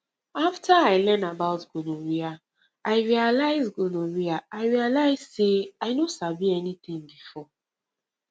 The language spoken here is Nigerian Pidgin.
after i learn about gonorrhea i realize gonorrhea i realize say i no sabi anything before